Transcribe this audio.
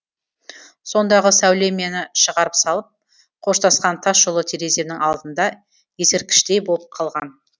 сондағы сәуле мені шығарып салып қоштасқан тас жол тереземнің алдында ескерткіштей болып қалған